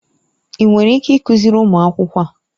Ị nwere ike ịkụziri ụmụ akwụkwọ a?